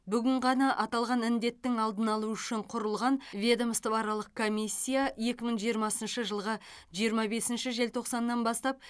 бүгін ғана аталған індеттің алдын алу үшін құрылған ведомствоаралық комиссия екі мың жиырмасыншы жылғы жиырма бесінші желтоқсаннан бастап